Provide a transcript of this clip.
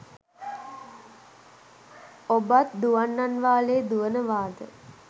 ඔබත් දුවන්නන් වාලේ දුවනවාද